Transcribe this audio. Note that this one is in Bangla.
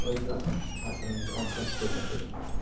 আভাস গত আচরণে অভ্যস্ত এটাতে,